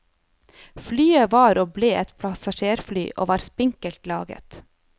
Flyet var og ble et passasjerfly, og var for spinkelt laget.